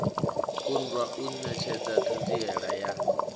kundwa u netshedza thanziela ya